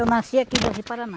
Eu nasci aqui em Jaci Paraná.